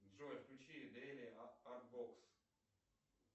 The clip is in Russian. джой включи дели арт бокс